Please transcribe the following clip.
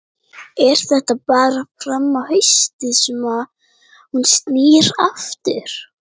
Er þetta bara fram á haustið sem hún snýr aftur?